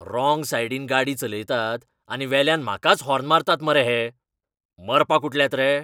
Wrong सायडीन गाडी चलयतात आनी वेल्यान म्हाकाच हॉर्न मारतात मरे हे. मरपाक उठल्यात रे?